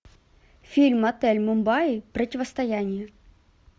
фильм отель мумбаи противостояние